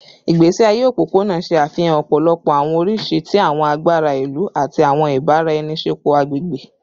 Igbesi aye opopona ṣe afihan ọpọlọpọ awọn oriṣi ti awọn agbara ilu ati awọn ibaraenisepo agbegbe